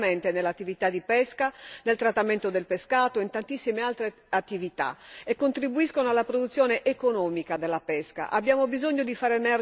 Le donne sono coinvolte direttamente nell'attività di pesca, nel trattamento del pescato e in tantissime altre attività e contribuiscono alla produzione economica della pesca.